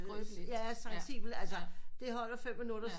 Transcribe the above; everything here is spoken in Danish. Skrøbelige ja det holder fem minutter